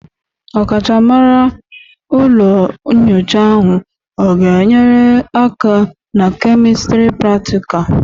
Ọkachamara ụlọ nyocha ahụ ọ ga-enyere aka na kemistri pratịkal?